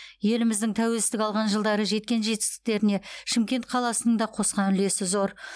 еліміздің тәуелсіздік алған жылдары жеткен жетістіктеріне шымкент қаласының да қосқан үлесі зор